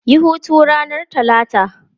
Yi hutu ranar Talata!